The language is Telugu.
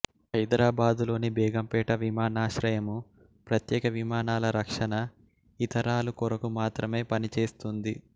హైదరాబాదులోని బేగంపేట విమానాశ్రయము ప్రత్యేక విమానాల రక్షణ ఇతరాలు కొరకు మాత్రమే పనిచేస్తుంది